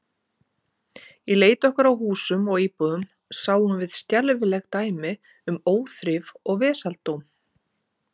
Í leit okkar að húsum og íbúðum sáum við skelfileg dæmi um óþrif og vesaldóm.